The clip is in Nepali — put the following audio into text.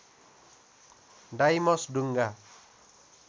डाइमस ढुङ्गा